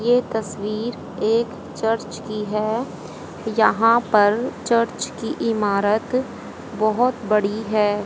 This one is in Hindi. ये तस्वीर एक चर्च की है। यहां पर चर्च की इमारत बहोत बड़ी है।